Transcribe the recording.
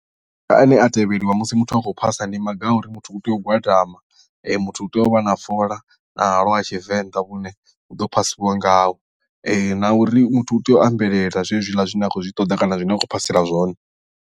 Maga ane a tevheliwa musi muthu a khou phasa ndi maga a uri muthu u tea u gwadama muthu u tea u vha na fola na halwa ha tshivenḓa vhune hu ḓo phasiwa ngaho na uri muthu u tea u ambelela zwenezwiḽa zwine a khou zwi ṱoḓa kana zwine a khou phasela zwone.